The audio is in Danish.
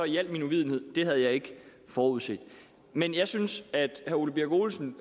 i al min uvidenhed at det havde jeg ikke forudset men jeg synes at herre ole birk olesen